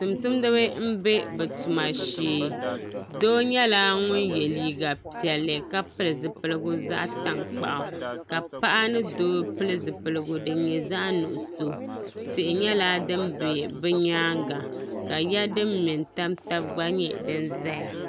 Tumtumdiba n be bɛ tuma shee doo nyɛla ŋun ye liiga piɛlli ka pili zipiligu zaɣa tankpaɣu ka paɣa ni doo pili zipiligu din nyɛ zaɣa nuɣuso tihi nyɛla din be bɛ nyaanga ka ya din mɛ n tam taba gba nyɛ din zaya.